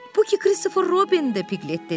Puhi Kristofer Robindi, Piklet dedi.